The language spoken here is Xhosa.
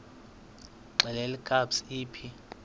xelel kabs iphi